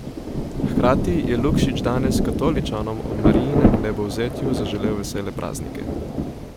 Hkrati je Lukšič danes katoličanom ob Marijinem vnebovzetju zaželel vesele praznike.